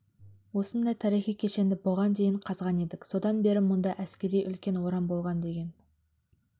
осындай тарихи кешенді бұған дейін қазған едік содан бері мұнда әскери үлкен орам болған деген